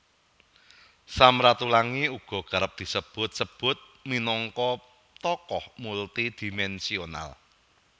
Sam Ratulangi uga kerep disebut sebut minangka tokoh multidimensional